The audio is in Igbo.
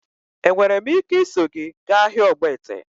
Enwere m ike iso gị gaa ahịa ogbete?